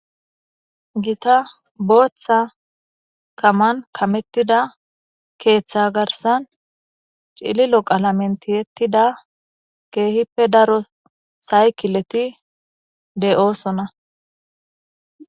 gita booththa kaman kamettida keeththa garsan cililo qalamentiettida keehippe daro saykileti de7oosona